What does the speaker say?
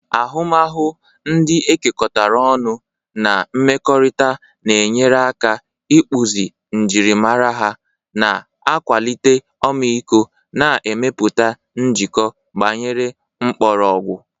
Ahụmahụ ndị e kekọrịtara ọnụ na mmekọrịta na-enyere aka ịkpụzi njirimara ha, na-akwalite ọmịiko, na ịmepụta njikọ gbanyere mkpọrọgwụ.